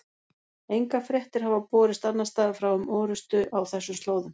Engar fréttir hafa borist annars staðar frá um orrustu á þessum slóðum.